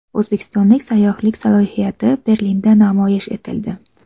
O‘zbekiston sayyohlik salohiyati Berlinda namoyish etildi.